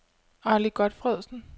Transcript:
Arly Godtfredsen